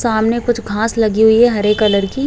सामने कुछ घास लगी हुई है हरे कलर की --